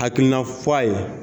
Akilina fɔ'a ye